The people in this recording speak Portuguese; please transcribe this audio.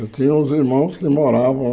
Eu tinha uns irmãos que moravam...